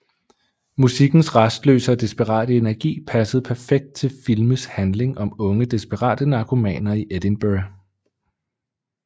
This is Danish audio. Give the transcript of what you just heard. Musikkens rastløse og desperate energi passede perfekt til filmes handling om unge desperate narkomaner i Edinburgh